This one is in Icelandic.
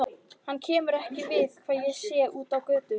Henni kemur ekki við hvað ég sé úti á götu.